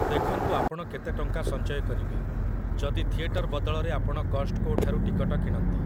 ଦେଖନ୍ତୁ ଆପଣ କେତେ ଟଙ୍କା ସଞ୍ଚୟ କରିବେ, ଯଦି ଥିଏଟର ବଦଳରେ ଆପଣ 'କଷ୍ଟକୋ'ଠାରୁ ଟିକଟ କିଣନ୍ତି ।